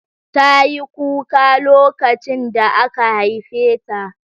Tayi kuka lokacin da aka haife ta